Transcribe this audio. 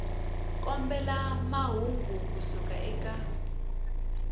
kombela mahungu ku suka eka